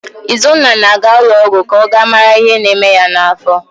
Izunna na-aga ụlọọgwụ ka ọ gaa mara ihe na-eme ya n'afọ